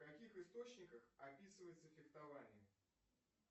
в каких источниках описывается фехтование